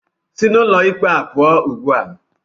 Sị n'ụlọ ikpe a pụọ ugbu a!